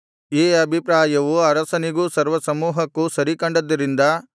ಈ ಅಭಿಪ್ರಾಯವು ಅರಸನಿಗೂ ಸರ್ವಸಮೂಹಕ್ಕೂ ಸರಿಕಂಡದ್ದರಿಂದ